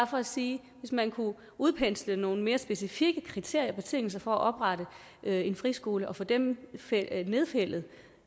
for at sige hvis man kunne udpensle nogle mere specifikke kriterier og betingelser for at oprette en friskole og få dem nedfældet